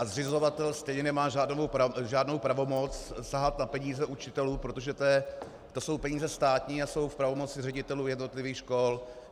A zřizovatel stejně nemá žádnou pravomoc sahat na peníze učitelům, protože to jsou peníze státní a jsou v pravomoci ředitelů jednotlivých škol.